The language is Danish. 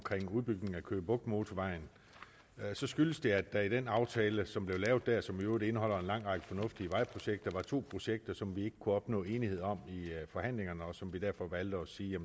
udbygningen af køge bugt motorvejen skyldes det at der i den aftale som blev lavet dér og som i øvrigt indeholder en lang række fornuftige vejprojekter var to projekter som man ikke kunne opnå enighed om i forhandlingerne og som vi derfor valgte at sige